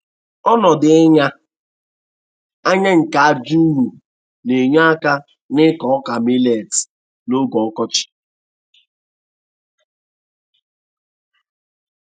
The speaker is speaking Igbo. Ọnọdụ ịnya anya nke aja ụrọ na-enye aka n'ịkọ ọka milet n'oge ọkọchị.